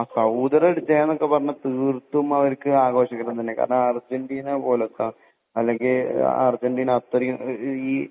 സൗദിയുടെ വിജയം എന്നൊക്കെ പറഞ്ഞാൽ തീർത്തും അവർക്ക് ആഘോഷിക്കണം കാരണം അർജന്റീന പോലത്തെ അല്ലെങ്കിൽ അർജന്റീന അത്രയും